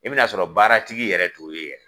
I bɛn'a sɔrɔ baara tigi yɛrɛ t'o ye yɛrɛ.